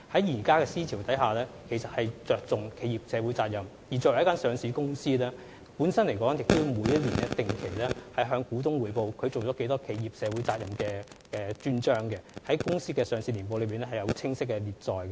現今的思潮着重企業社會責任，而作為一間上市公司，每年也要定期向股東匯報履行了多少社會責任，在年報的專章中清晰列載。